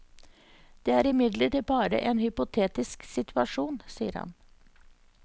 Det er imidlertid bare en hypotetisk situasjon, sier han.